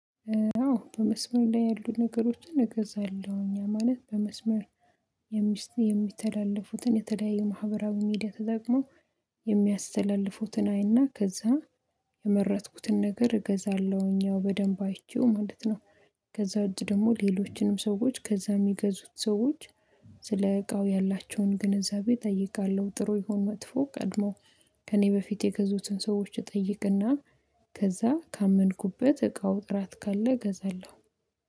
አዎ በመስመር ላይ ያሉ ነገሮችን እገዛለሁ እኛ ማለት በመስመር የሚስት የሚተላለፉትን የተለያየ ማህበራዊ ሚዲያ ተጠቅመው የሚያስተላልፉትን አይና ከዛ የመረጥኩትን ነገር እገዛለሁኝ ያው በደንብ አይቼው ማለት ነው። ከዛ ውጭ ደግሞ ሌሎችንም ሰዎች ከዛ የሚገዙት ሰዎች ስለ እቃው ያላቸውን ግንዛቤ እጠይቃለሁ ጥሩ ይሁን መጥፎ ቀድሞ ከእኔ በፊት የገዙትን ሰዎች እጠይቅና ከዛ ካመንኩበት እቃው ጥራት ካለ እገዛለሁ